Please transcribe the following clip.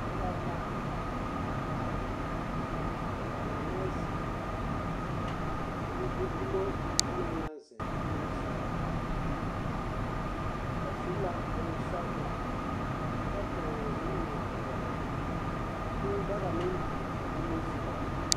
Noba la a are are, ka ba mine zeŋ, ka kaŋ gbi dumo a ba naŋ naŋ zeŋ nimisogͻ. Ba su la bonsͻgelͻ kyԑ toore nuwo-peԑle. Ka kũũ daga meŋ biŋ ba nimisogͻ.